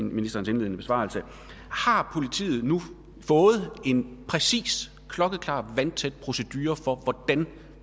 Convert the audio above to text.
ministerens indledende besvarelse har politiet nu fået en præcis klokkeklar vandtæt procedure for hvordan